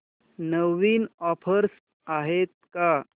नवीन offers आहेत का